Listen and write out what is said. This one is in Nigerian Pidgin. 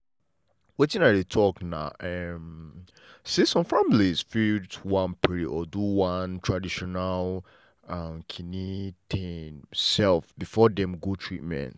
wetin i dey talk na um say some families fit wan pray or do one traditional um thing um before dem go treatment.